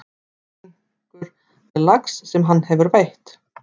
Minkur með lax sem hann hefur veitt.